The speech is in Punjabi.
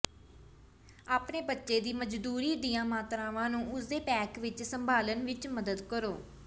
ਆਪਣੇ ਬੱਚੇ ਦੀ ਮਜਦੂਰੀ ਦੀਆਂ ਮਾਤਰਾਵਾਂ ਨੂੰ ਉਸ ਦੇ ਪੈਕ ਵਿਚ ਸੰਭਾਲਣ ਵਿਚ ਮਦਦ ਕਰੋ